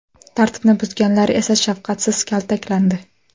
Tartibni buzganlar esa shafqatsiz kaltaklandi.